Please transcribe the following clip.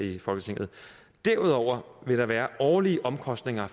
i folketinget derudover vil der være årlige omkostninger